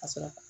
Ka sɔrɔ ka